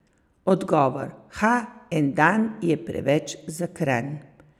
Odgovor: 'Ha, en dan je preveč za Kranj!